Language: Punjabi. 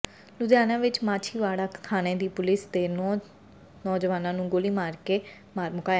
ਲੁਧਿਆਣਾ ਵਿੱਚ ਮਾਛੀਵਾੜਾ ਥਾਣੇ ਦੀ ਪੁਲਿਸ ਨੇ ਦੋ ਨੌਜਵਾਨਾਂ ਨੂੰ ਗੋਲੀਆਂ ਮਾਰਕੇ ਮਾਰ ਮੁਕਾਇਆ